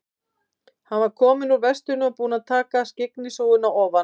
Hann var kominn úr vestinu og búinn að taka skyggnishúfuna ofan.